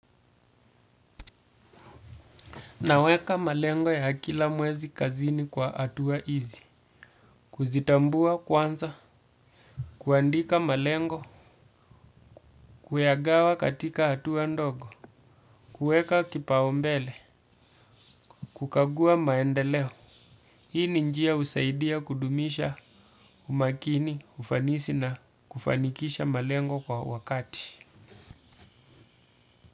Naweka malengo ya kila mwezi kazini kwa hatua hizi, kuzitambua kwanza, kuandika malengo, kuyagawa katika hatua ndogo, kueka kipaumbele, kukagua maendeleo. Hii ni njia husaidia kudumisha umakini, ufanisi na kufanikisha malengo kwa wakati.